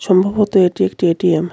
সম্ভবত এটি একটি এ_টি_এম .